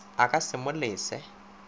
a ka se mo lese